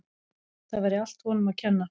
Það væri allt honum að kenna.